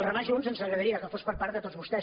remar junts ens agradaria que fos per part de tots vos·tès